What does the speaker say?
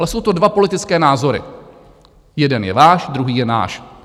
Ale jsou to dva politické názory, jeden je váš, druhý je náš.